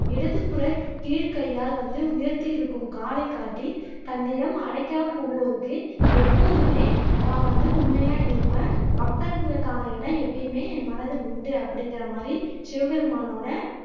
இடது புற கீழ் கையால் வந்து உயர்த்தி இருக்கும் காலைக் காட்டி, தன்னிடம் அடைக்கலம் புகுவோருக்கு எப்போதுமே நான் வந்து உண்மையா இருப்பேன் பக்தர்களுக்கான இடம் எப்பையுமே என் மனதில் உண்டு அப்படிங்குற மாதிரி சிவபெருமானோட